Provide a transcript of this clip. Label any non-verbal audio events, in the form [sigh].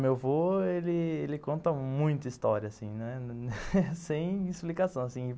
Meu avô ele, ele conta muita história assim, né, [laughs] sem explicação assim.